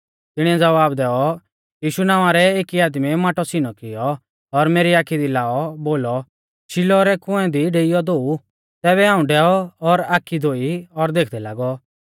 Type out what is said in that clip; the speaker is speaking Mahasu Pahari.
तिणीऐ ज़वाब दैऔ यीशु नावां रै एकी आदमीऐ माटौ सीनौ किऔ और मेरी आखी दी लाइऔ बोलौ शिलोह रै कुंऐ दी डेइऔ धोऊ तैबै हाऊं डैऔ और आखी धोई और देखदै लागौ